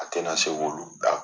A te na se k'olu bila